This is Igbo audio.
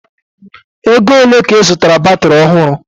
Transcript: Ego ole ka ị zụtaara batiri ọhụrụ?